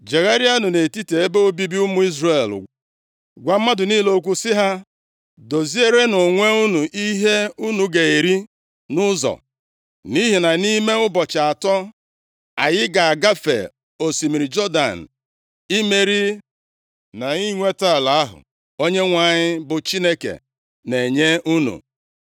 “Jegharịanụ nʼetiti ebe obibi ụmụ Izrel gwa mmadụ niile okwu sị ha ‘Dozierenụ onwe unu ihe unu ga-eri nʼụzọ, nʼihi na nʼime ụbọchị atọ, anyị ga-agafe osimiri Jọdan, imeri na inweta ala ahụ Onyenwe anyị bụ Chineke na-enye unu.’ ”